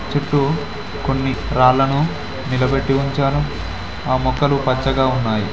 చుట్టూ కొన్ని రాళ్ళను నిలబెట్టి ఉంచాను ఆ మొక్కలు పచ్చగా ఉన్నాయి.